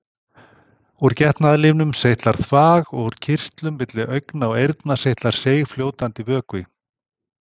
Úr getnaðarlimnum seytlar þvag og úr kirtlum milli augna og eyrna seytlar seigfljótandi vökvi.